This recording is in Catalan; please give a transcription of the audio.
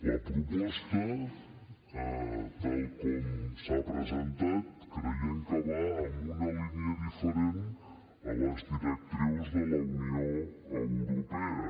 la proposta tal com s’ha presentat creiem que va en una línia diferent de les directrius de la unió europea